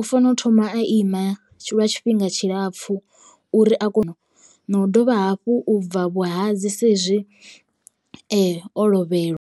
u fanela u thoma a ima lwa tshifhinga tshilapfu uri a kone no dovha hafhu u bva vhuhadzi saizwi o lovhelwa.